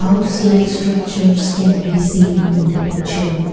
house like structures can be seen in the picture.